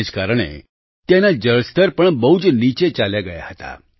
તેને જ કારણે ત્યાંના જળસ્તર પણ બહુ જ નીચે ચાલ્યા ગયા હતા